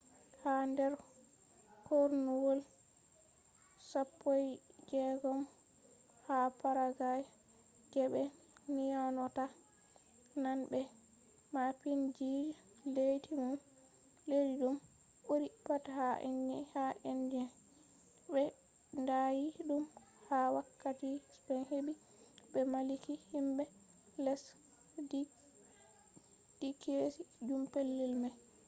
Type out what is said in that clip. ha der kornuwol 16th ha paraguay je be nyonata nane be maapiindijo leddi dum buri pat ha indies” be ndaayi dum ha wakkati spain hebi be malliki himbe lesdinkeejum pellel mai